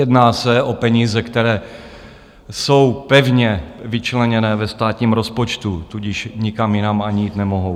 Jedná se o peníze, které jsou pevně vyčleněné ve státním rozpočtu, tudíž nikam jinam ani jít nemohou.